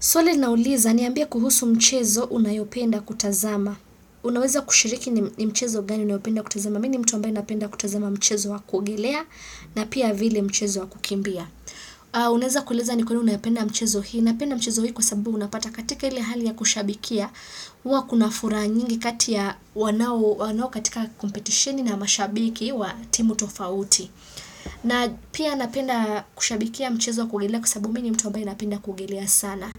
Swali linauliza, niambie kuhusu mchezo unayopenda kutazama. Unaweza kushiriki ni mchezo gani unayopenda kutazama. Mi ni mtu ambae napenda kutazama mchezo wa kuogelea na pia vile mchezo wa kukimbia. Unaeza kueleza ni kwa nini unaipenda mchezo hii. Napenda mchezo hii kwa sababu unapata katika ile hali ya kushabikia. Huwa kuna furaha nyingi kati ya wanao katika competitioni na mashabiki wa timu tofauti. Na pia napenda kushabikia mchezo wa kuogelea kwa sababu mi ni mtu ambae napenda kuogelea sana.